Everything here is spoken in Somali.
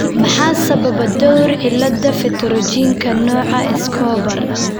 Maxaa sababa dhowr cillada pterygiumka, nooca Escobar?